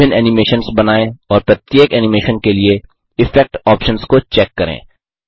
विभिन्न एनिमेशन्स बनाएँ और प्रत्येक एनिमेशन के लिए इफेक्ट ऑप्शन्स को चेक करें